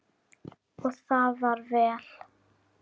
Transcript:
Og var það vel.